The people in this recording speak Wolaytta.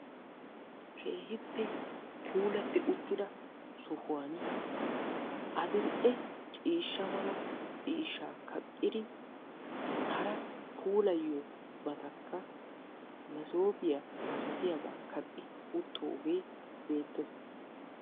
Keehippe puulatti uttida sohuwaan adil"e ciishsha mala ciishshaa kaqqidi hara puulayiyobatakka maasoopiyaa malatiyaabaa kaqqi wottoogee beettees.